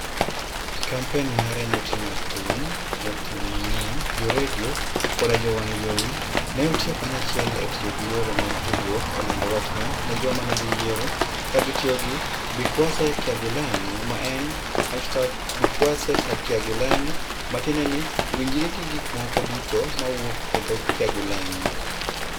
Kampen mare ne oting'o thum, jothum mang'eny, jo redio, koda jo televison, ne otiyo kanyachiel e tiyo gi yore mag tudruok e lando wachne ne joma ne dhi yiero, ka gitiyo gi #BikwaseKyagulanyi, ma en #BikwaseKyagulanyi, ma tiende en ni "winjri gi gik moko duto ma wuok e dho-Kyagulanyi".